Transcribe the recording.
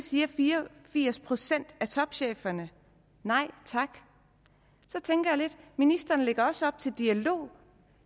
siger fire og firs procent af topcheferne nej tak ministeren lægger også op til dialog